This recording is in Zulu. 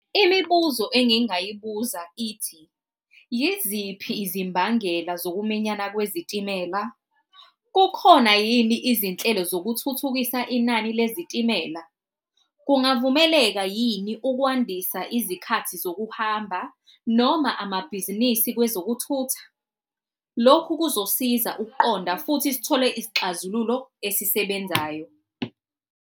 Imibuzo engingayibuza ithi, yiziphi izimbangela zokuminyana kwezitimela? Kukhona yini izinhlelo zokuthuthukisa inani lezitimela? Kungavumeleka yini ukwandisa izikhathi zokuhamba noma amabhizinisi kwezokuthutha? Lokhu kuzosiza ukuqonda futhi sithole isixazululo esisebenzayo.